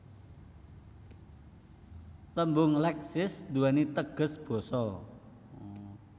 Tembung Leksis duwéni teges Basa